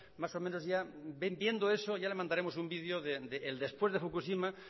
más o menos ya viendo eso ya le mandaremos un video del después de fukushima